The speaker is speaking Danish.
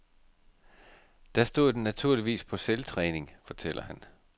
Der stod den naturligvis på selvtræning, fortæller han.